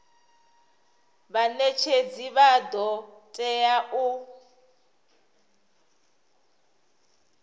vhanetshedzi vha do tea u